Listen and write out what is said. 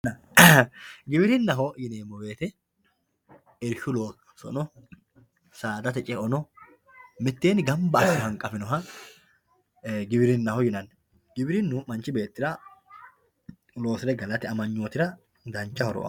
giwirinnaho yineemo woyiite irshshu loosono, saadate ce"ono miteeni ganba asse hanqafinoha giwirinnaho yinanni giwirinnu manchi beettira loosire galate amanyootira dancha horo aanno.